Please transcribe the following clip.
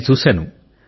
నేను చూశాను